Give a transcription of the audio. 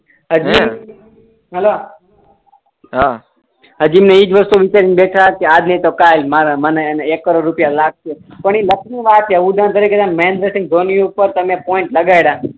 હજી હેલો હા હજી એજી ઈ ને વસ્તુ છે આજ ની તો કાલ માર મને એણે એક કરોડ રુપયા લાગશે પણ એ લક ની વાત છે મહેન્દ્ર સિંઘ ધોની ઉપર તમે પોઈન્ટ લગાયડા